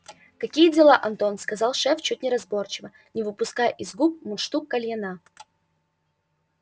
такие дела антон сказал шеф чуть неразборчиво не выпуская из губ мундштук кальяна